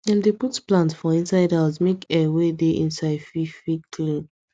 dem dey put plant for inside house make air wey dey inside fit fit clean